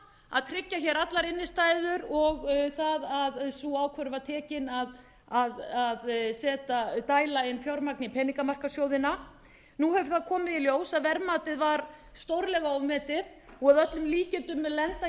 að tryggja allar innstæður og það að sú ákvörðun var tekin að dæla fjármagni inn í peningamarkaðssjóðina nú hefur það komið í ljós að verðmætið var stórlega ofmetið og að öllum líkindum mun lenda